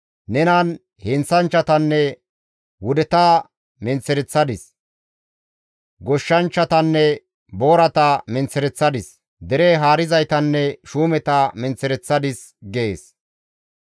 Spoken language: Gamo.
Nenan heenththanchchatanne wudeta menththereththadis; goshshanchchatanne boorata menththereththadis; dere haarizaytanne shuumeta menththereththadis» gees.